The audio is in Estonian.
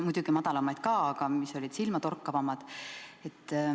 Muidugi on madalamaid protsente ka, aga need on silmatorkavamad.